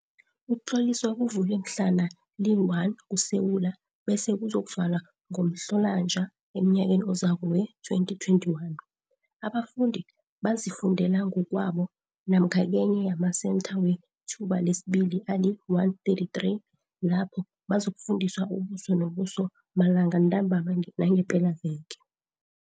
Ukutlolisa kuvulwe mhlana li-1 kuSewula bese ku-zokuvalwa ngoMhlolanja emnyakeni ozako wee-2021. Abafundi bazifundela ngokwabo namkha kenye yamaSentha weThuba lesiBili ali-133 lapho bazokufundiwa ubuso nobuso malanga ntambama nangepelaveke.